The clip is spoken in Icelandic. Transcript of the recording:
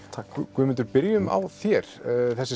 Guðmundur byrjum á þér þessi